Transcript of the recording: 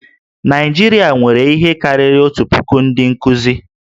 Naịjirịa nwere ihe karịrị otu puku ndị nkuzi